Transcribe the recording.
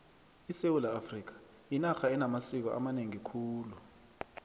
isewula afrika yinarha enamasiko amanengi khulu